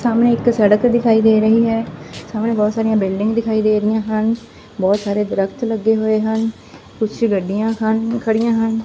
ਸਾਹਮਣੇ ਇੱਕ ਸੜਕ ਦਿਖਾਈ ਦੇ ਰਹੀ ਹੈ ਸਾਹਮਣੇ ਬਹੁਤ ਸਾਰੀਆਂ ਬਿਲਡਿਗਾਂ ਦਿਖਾਈ ਦੇ ਰਹੀਆਂ ਹਨ ਬਹੁਤ ਸਾਰੇ ਦ੍ਰਖਤ ਲੱਗੇ ਹੋਏ ਹਨ ਕੁਛ ਗੱਡੀਆਂ ਹਨ ਖੜੀਆਂ ਹਨ।